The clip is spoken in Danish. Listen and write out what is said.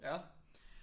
Ja